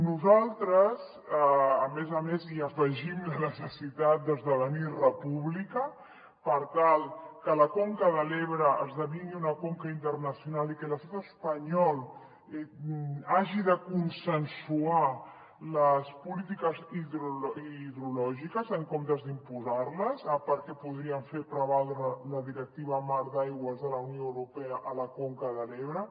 nosaltres a més a més hi afegim la necessitat d’esdevenir república per tal que la conca de l’ebre esdevingui una conca internacional i que l’estat espanyol hagi de consensuar les polítiques hidrològiques en comptes d’imposar les perquè podríem fer prevaldre la directiva marc d’aigües de la unió europea a la conca de l’ebre